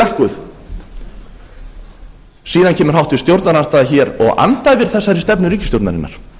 lækkuð síðan kemur háttvirtur stjórnarandstaða hér og andæfir þessari stefnu ríkisstjórnarinnar